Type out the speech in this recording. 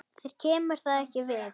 Þér kemur það ekki við.